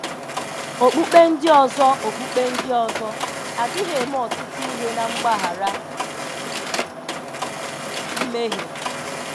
Okpukpe ndị ọzọ Okpukpe ndị ọzọ adịghị eme ọtụtụ ihe na mgbaghara mmehie.